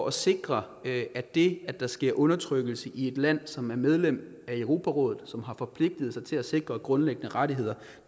at sikre at det at der sker undertrykkelse i et land som er medlem af europarådet og som har forpligtet sig til at sikre grundlæggende rettigheder